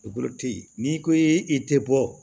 n'i ko i tɛ bɔ